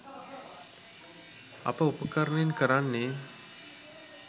අප උපකරණයෙන් කරන්නේ